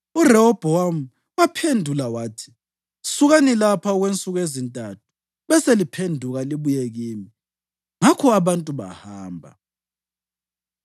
URehobhowami waphendula wathi: “Sukani lapha okwensuku ezintathu beseliphenduka libuye kimi.” Ngakho abantu bahamba.